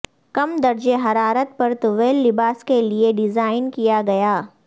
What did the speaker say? کم درجہ حرارت پر طویل لباس کے لئے ڈیزائن کیا گیا